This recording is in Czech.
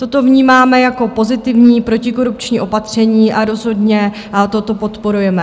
Toto vnímáme jako pozitivní protikorupční opatření a rozhodně toto podporujeme.